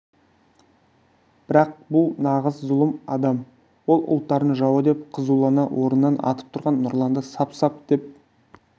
бірақ бұл нағыз зұлым адам ол ұлттардың жауы деп қызулана орнынан атып тұрған нұрланды сап-сап деп